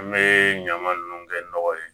An bɛ ɲama nunnu kɛ nɔgɔ ye